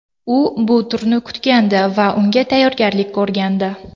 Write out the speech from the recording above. U bu turni kutgandi va unga tayyorgarlik ko‘rgandi.